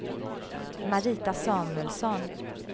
Marita Samuelsson